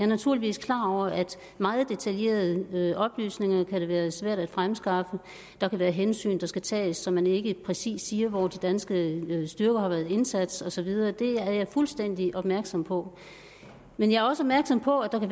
naturligvis klar over at meget detaljerede oplysninger kan være svære at fremskaffe der kan være hensyn der skal tages så man ikke præcis siger hvor de danske styrker har været indsat og så videre det er jeg fuldstændig opmærksom på men jeg er også opmærksom på at